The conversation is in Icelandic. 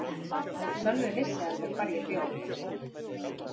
Sölvi vissi alveg hvar ég bjó.